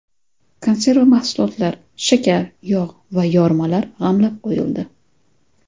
Konserva mahsulotlar, shakar, yog‘ va yormalar g‘amlab qo‘yildi.